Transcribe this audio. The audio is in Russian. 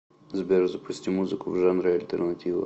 сбер запусти музыку в жанре альтернатива